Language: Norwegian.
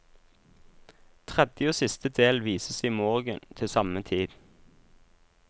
Tredje og siste del vises i morgen til samme tid.